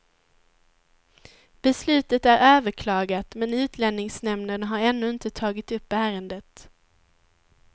Beslutet är överklagat, men utlänningsnämnden har ännu inte tagit upp ärendet.